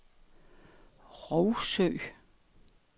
Rougsø